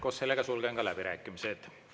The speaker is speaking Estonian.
Koos sellega sulgen ka läbirääkimised.